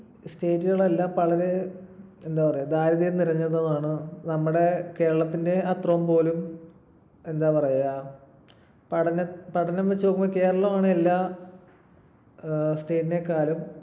state കളെല്ലാം വളരെ എന്താ പറയാ ദാരിദ്ര്യം നിറഞ്ഞതുമാണ്. നമ്മുടെ കേരളത്തിന്റെ അത്രപോലും എന്താ പറയുക, പഠനം ~ പഠനം വെച്ച് നോക്കുമ്പോൾ കേരളമാണ് എല്ലാ ഏർ state നേക്കാളും